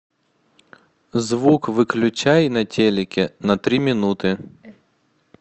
звук выключай на телике на три минуты